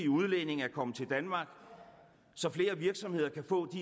udlændinge at komme til danmark så flere virksomheder kan få